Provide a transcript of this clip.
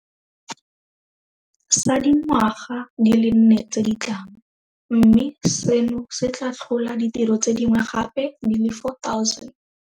Sa dingwaga di le nne tse di tlang, mme seno se tla tlhola ditiro tse dingwe gape di le 4 000.